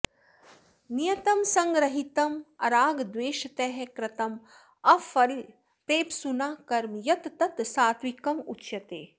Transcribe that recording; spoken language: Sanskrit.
नियतं सङ्गरहितम् अरागद्वेषतः कृतम् अफलप्रेप्सुना कर्म यत् तत् सात्त्विकम् उच्यते